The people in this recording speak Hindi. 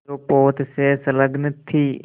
जो पोत से संलग्न थी